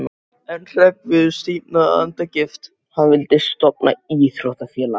En Hreggviður stífnaði af andagift: Hann vildi stofna íþróttafélag!